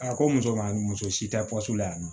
A ko muso ma muso si tɛ pɔso la yan nɔ